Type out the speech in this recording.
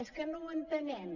és que no ho entenem